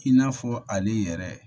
I n'a fɔ ale yɛrɛ